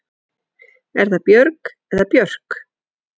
Er það Björg eða Björk?